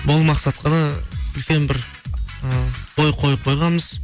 бұл мақсатқа да үлкен бір ы ой қойып қойғанбыз